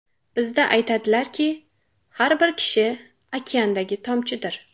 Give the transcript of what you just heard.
Bizda aytadilarki, har bir kishi okeandagi tomchidir.